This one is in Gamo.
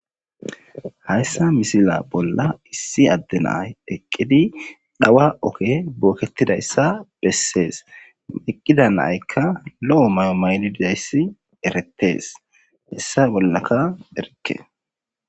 Hayisa missila bola issi adde nayi eqidi dhawa oge boketidayisa beses eqida nayika lo'o mayo mayidi dizayisi eretes heyisa bolaka erike.